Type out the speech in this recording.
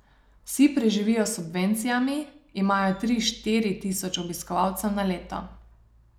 Vsi preživijo s subvencijami, imajo tri, štiri tisoč obiskovalcev na leto.